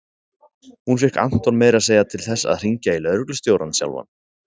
Hún fékk Anton meira að segja til þess að hringja í lögreglustjórann sjálfan.